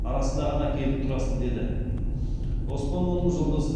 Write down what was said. арасында ғана келіп тұрасың деді оспанованың жолдасы